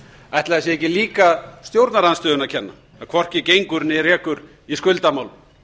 ætli það sé ekki líka stjórnarandstöðunni að kenna að hvorki gengur né rekur í skuldamálum